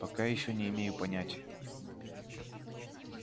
пока ещё не имею понятия